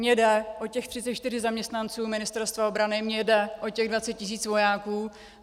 Mně jde o těch 34 zaměstnanců Ministerstva obrany, mně jde o těch 20 tisíc vojáků.